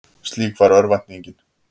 Slík var örvæntingin.